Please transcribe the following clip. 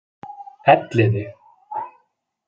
Elliði